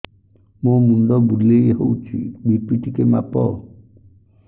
ମୋ ମୁଣ୍ଡ ବୁଲେଇ ହଉଚି ବି.ପି ଟିକେ ମାପ